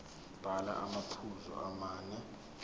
bhala amaphuzu amane